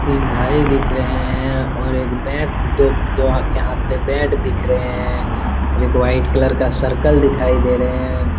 तीन भाई दिख रहे हैं और एक बेट दो दोनों के हाथ पे बेट दिख रहे हैं और एक वाइट कलर का सर्कल दिखाई दे रहे हैं।